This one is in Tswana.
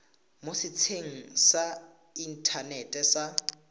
mo setsheng sa inthanete sa